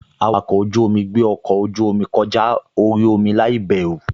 Awakọ̀ ojú-omi gbé ọkọ ojú-omi kọjá orí omi láìbẹ̀rù